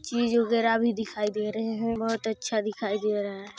चीज वगेरा भी दिखाई दे रहे हैं बहुत अच्छा दिख रहा हैं।